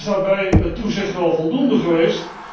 Is daarbij het toezicht wel voldoende geweest?